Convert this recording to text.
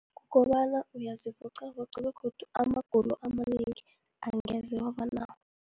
Kobana uyazivoqavoqa, begodu amagulo amanengi angeze wabanawo.